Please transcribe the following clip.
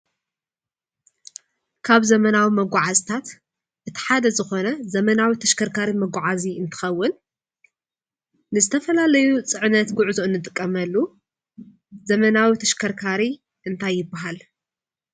ካብ ዘመናዊ መጓዓዝታት እቲ ሓደ ዝኾነ ዘመናዊ ተሽከርካሪ መጉዓዚ እንትኸውን ንዝተፈላለዩ ፅዕነት ጉዕዞ እንጥቀመሉ ዝመናዊ ተሽከርካሪ እንታይ ይበሃል ?